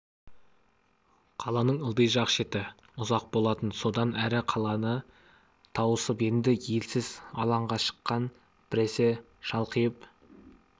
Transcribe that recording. қаланың ылди жақ шеті ұзақ болатын содан әрі қаланы тауысып енді елсіз алаңға шыққан біресе шалқиып